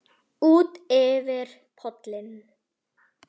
Útyfir pollinn